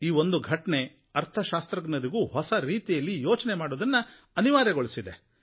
ಈ ಒಂದು ಘಟನೆ ಅರ್ಥಶಾಸ್ತ್ರಜ್ಞರಿಗೂ ಹೊಸ ರೀತಿಯಲ್ಲಿ ಯೋಚನೆ ಮಾಡುವುದನ್ನು ಅನಿವಾರ್ಯಗೊಳಿಸಿದೆ